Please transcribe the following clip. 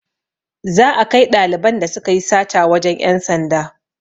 Za a kai ɗaliban da sukayi sata wajen ƴan sanda